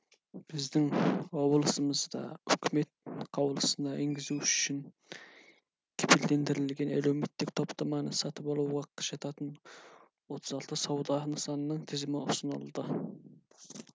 біздің облысымызда үкімет қаулысына енгізу үшін кепілдендірілген әлеуметтік топтаманы сатып алуға жататын отыз алты сауда нысанының тізімі ұсынылды